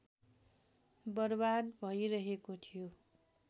बर्बाद भइरहेको थियो